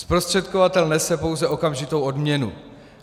Zprostředkovatel nese pouze okamžitou odměnu.